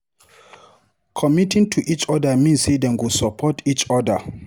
Committing to each other mean say dem go support each other.